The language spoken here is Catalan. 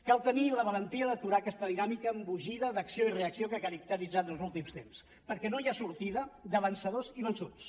cal tenir la valentia d’aturar aquesta dinàmica embogida d’acció i reacció que ha caracteritzat els últims temps perquè no hi ha sortida de vencedors i vençuts